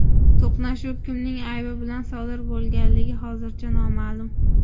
To‘qnashuv kimning aybi bilan sodir bo‘lganligi hozircha noma’lum.